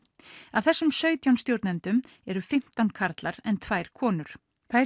af þessum sautján stjórnendum eru fimmtán karlar en tvær konur tvær